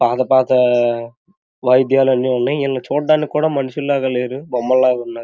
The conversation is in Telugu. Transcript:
పాత పాత లా అన్నీ ఉన్నాయి వీళ్ళని చూడడానికి మనుషుల లేరు బొమ్మల ఉన్నారు.